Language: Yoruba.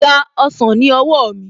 Gba ọsàn ní owó mi